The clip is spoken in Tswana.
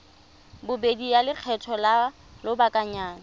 bobedi ya lekgetho la lobakanyana